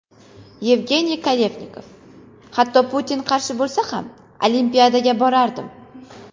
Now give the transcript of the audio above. Yevgeniy Kafelnikov: Hatto Putin qarshi bo‘lsa ham, Olimpiadaga borardim.